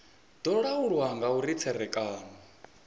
do laulwa nga uri tserekano